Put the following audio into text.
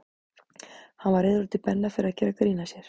Hann var reiður út í Benna fyrir að gera grín að sér.